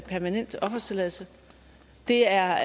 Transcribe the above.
permanent opholdstilladelse det er